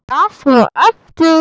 Las svo aftur.